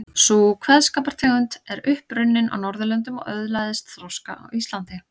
Sú kveðskapartegund er upp runnin á Norðurlöndum og öðlaðist þroska á Íslandi.